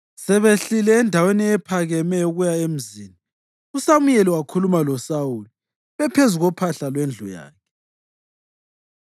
Sebehlile endaweni ephakemeyo ukuya emzini, uSamuyeli wakhuluma loSawuli bephezu kophahla lwendlu yakhe.